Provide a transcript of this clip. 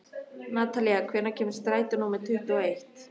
Natalía, hvenær kemur strætó númer tuttugu og eitt?